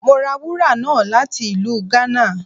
Mo ra wúra náá lati ilù Ghana.